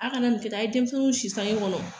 Aw kana nin kɛ ta, aw ye denmisɛnw si sanke kɔnɔ